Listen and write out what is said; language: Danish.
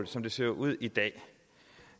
som det ser ud i dag